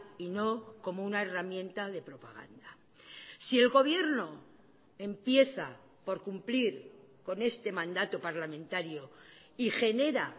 y no como una herramienta de propaganda si el gobierno empieza por cumplir con este mandato parlamentario y genera